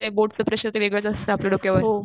ते बोर्डच प्रेशर ते वेगळंच असत आपल्या डोक्यावर.